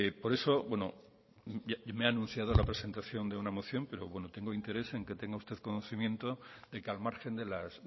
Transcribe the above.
por eso bueno me ha anunciado la presentación de una moción pero bueno tengo interés en que tenga usted conocimiento de que al margen de las